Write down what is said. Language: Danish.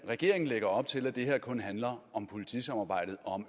at regeringen lægger op til at det her kun handler om politisamarbejdet og